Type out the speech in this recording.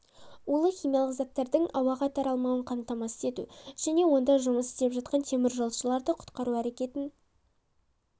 улы химиялық заттардың ауаға таралмауын қамтамасыз ету және онда жұмыс істеп жатқан теміржолшыларды құтқару әрекетін